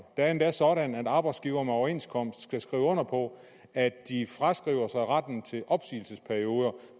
er endda sådan at arbejdsgivere med overenskomst skal skrive under på at de fraskriver sig retten til opsigelsesperioder